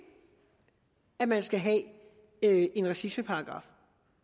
at man skal have en racismeparagraf